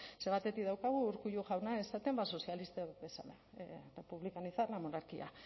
ze batetik daukagu urkullu jauna esaten sozialistak bezala republicanizar la monarquía